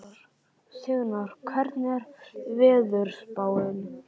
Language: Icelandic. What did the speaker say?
Signar, hvernig er veðurspáin?